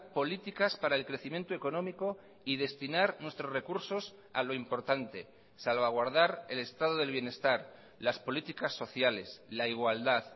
políticas para el crecimiento económico y destinar nuestros recursos a lo importante salvaguardar el estado del bienestar las políticas sociales la igualdad